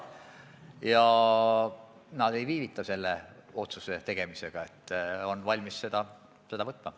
Ja nad ei viivita selle otsuse tegemisega, nad on valmis seda langetama.